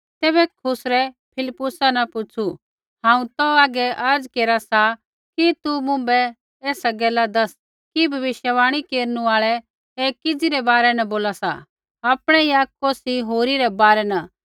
तैबै खुसरै फिलिप्पुसा न पुछ़ू हांऊँ तौ आगै अर्ज़ा केरा सा कि तू मुँभै एसा गैल दैस कि भविष्यवाणी केरनु आल़ा ऐ किज़ी रै बारै न बोला सा आपणै या कौसी होरी रै बारै न